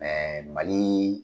Mali